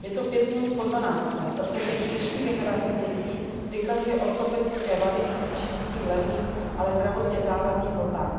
Je to pět minut po dvanácté, protože už dnešní generace dětí vykazuje ortopedické vady díky čínským levným, ale zdravotně závadným botám.